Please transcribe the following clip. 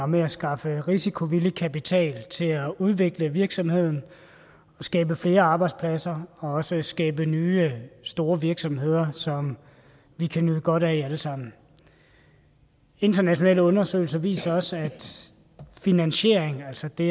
med at skaffe risikovillig kapital til at udvikle virksomheden skabe flere arbejdspladser og også skabe nye store virksomheder som vi kan nyde godt af alle sammen internationale undersøgelser viser også at finansieringen altså det